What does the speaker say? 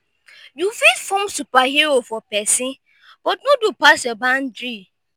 yu fit form superhero for pesin but no do pass yur bandry